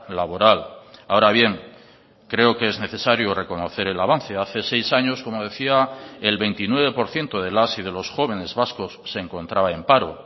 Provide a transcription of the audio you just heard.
laboral ahora bien creo que es necesario reconocer el avance hace seis años como decía el veintinueve por ciento de las y de los jóvenes vascos se encontraba en paro